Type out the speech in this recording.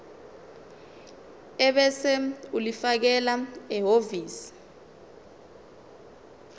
ebese ulifakela ehhovisi